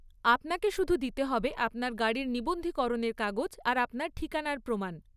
আপনাকে শুধু দিতে হবে আপনার গাড়ির নিবন্ধীকরণের কাগজ আর আপনার ঠিকানার প্রমাণ।